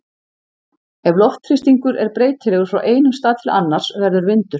Ef loftþrýstingur er breytilegur frá einum stað til annars verður vindur.